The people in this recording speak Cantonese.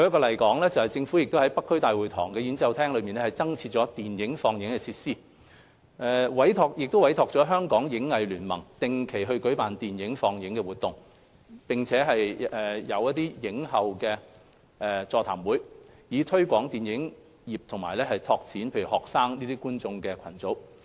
例如，政府在北區大會堂演奏廳增設了電影放映設施，委託香港影藝聯盟定期舉辦電影放映活動，並設映後座談會，以推廣電影業及拓展學生觀眾群。